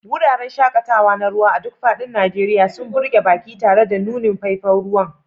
Wuraren shaƙatawa na ruwa a duk faɗin Najeriya sun burge baƙi tare da nunin faifan ruwa.